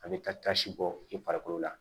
A bɛ kasi bɔ i farikolo la